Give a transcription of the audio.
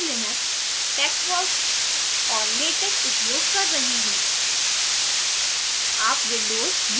और मैं ubuntu linux texworks और latex उपयोग कर रही हूँ